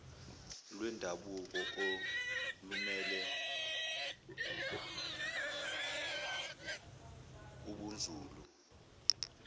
lwendabuko olumele ubunzulu